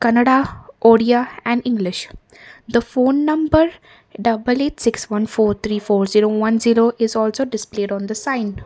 kannada odia and english the phone number double eight six one four three four zero one zero is also displayed on the sign.